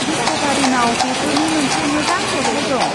डिस्क'भारिनाव बेफोरनि मोनसे मोजां जथाय दं।